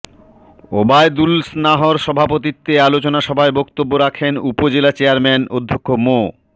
ওবায়দুলস্নাহর সভাপতিত্বে আলোচনা সভায় বক্তব্য রাখেন উপজেলা চেয়ারম্যান অধ্যক্ষ মো